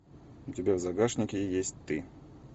у тебя в загашнике есть ты